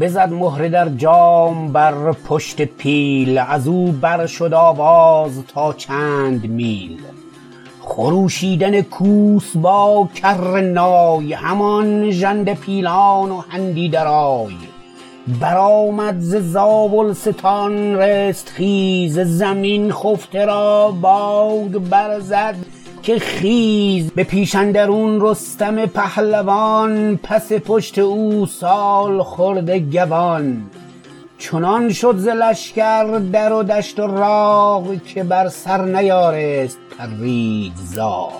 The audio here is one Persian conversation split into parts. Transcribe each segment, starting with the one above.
بزد مهره در جام بر پشت پیل ازو برشد آواز تا چند میل خروشیدن کوس با کرنای همان ژنده پیلان و هندی درای برآمد ز زاولستان رستخیز زمین خفته را بانگ برزد که خیز به پیش اندرون رستم پهلوان پس پشت او سالخورده گوان چنان شد ز لشکر در و دشت و راغ که بر سر نیارست پرید زاغ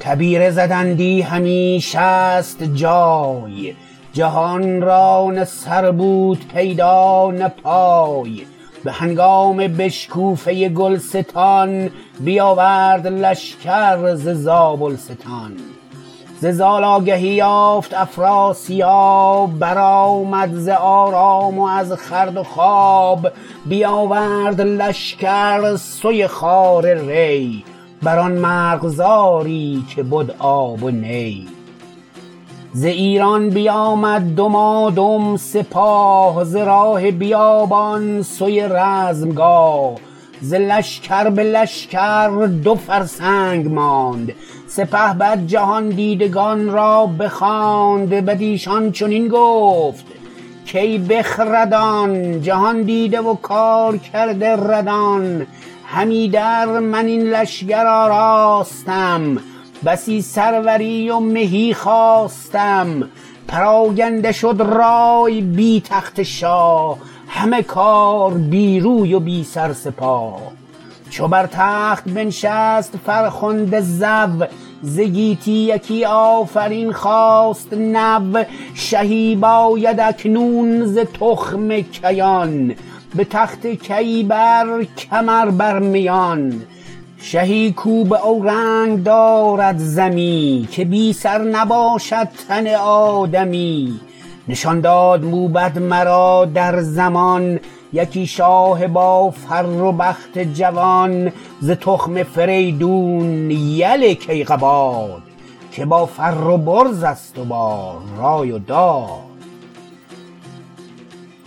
تبیره زدندی همی شست جای جهان را نه سر بود پیدا نه پای به هنگام بشکوفه گلستان بیاورد لشکر ز زابلستان ز زال آگهی یافت افراسیاب برآمد ز آرام و از خورد و خواب بیاورد لشکر سوی خوار ری بران مرغزاری که بد آب و نی ز ایران بیامد دمادم سپاه ز راه بیابان سوی رزمگاه ز لشکر به لشکر دو فرسنگ ماند سپهبد جهاندیدگان را بخواند بدیشان چنین گفت کای بخردان جهاندیده و کارکرده ردان هم ایدر من این لشکر آراستم بسی سروری و مهی خواستم پراگنده شد رای بی تخت شاه همه کار بی روی و بی سر سپاه چو بر تخت بنشست فرخنده زو ز گیتی یکی آفرین خاست نو شهی باید اکنون ز تخم کیان به تخت کیی بر کمر بر میان شهی کاو باورنگ دارد ز می که بی سر نباشد تن آدمی نشان داد موبد مرا در زمان یکی شاه با فر و بخت جوان ز تخم فریدون یل کیقباد که با فر و برزست و با رای و داد